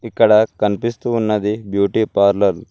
ఇక్కడ కనిపిస్తూ ఉన్నది బ్యూటీ పార్లర్ .